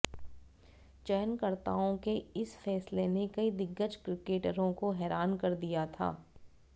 चयनकर्ताओं के इस फैसले ने कई दिग्गज क्रिकटरों को हैरान कर दिया था